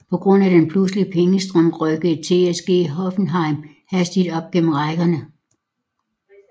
På grund af denne pludselige pengestrøm rykkede TSG Hoffenheim hastigt op gennem rækkerne